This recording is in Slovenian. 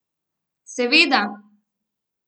Seveda.